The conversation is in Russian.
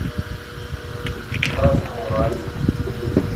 красноуральску